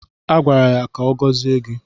A gwara ya ka ọ gọzie gị